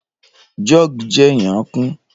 jug je n'y'a kun